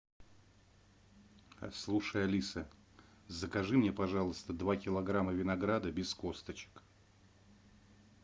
слушай алиса закажи мне пожалуйста два килограмма винограда без косточек